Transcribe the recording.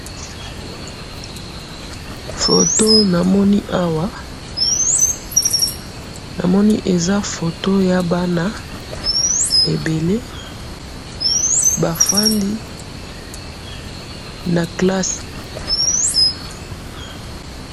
photo oyo namoni awa ,namoni eza photo ya bana ebele ba fandi na classe